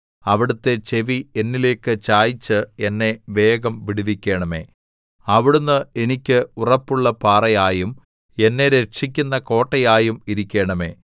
അവിടുത്തെ ചെവി എന്നിലേക്ക് ചായിച്ച് എന്നെ വേഗം വിടുവിക്കണമേ അവിടുന്ന്എനിക്കു ഉറപ്പുള്ള പാറയായും എന്നെ രക്ഷിക്കുന്ന കോട്ടയായും ഇരിക്കണമേ